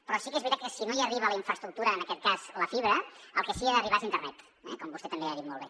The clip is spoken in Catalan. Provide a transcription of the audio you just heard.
però sí que és veritat que si no hi arriba la infraestructura en aquest cas la fibra el que sí que hi ha d’arribar és internet com vostè també ha dit molt bé